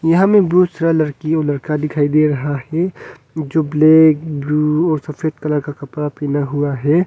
यहाँ हमें बहुत सारा लड़की और लड़का दिखाई दे रहा है जो ब्लैक ब्लू और सफेद कलर का कपड़ा पहना हुआ है।